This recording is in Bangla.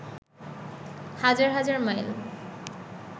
হাজার হাজার মাইল